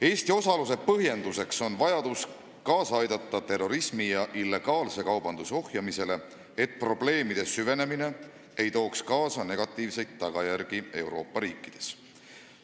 Eesti osalus on põhjendatud vajadusega aidata kaasa terrorismi ja illegaalse kaubanduse ohjeldamisele, et probleemide süvenemine ei tooks kaasa negatiivseid tagajärgi Euroopa riikides.